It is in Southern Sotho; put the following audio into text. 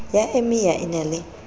ya emia e na le